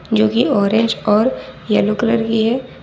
जो कि ऑरेंज और येलो कलर की है।